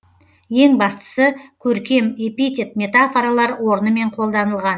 ең бастысы көркем эпитет метафоралар орнымен қолданылған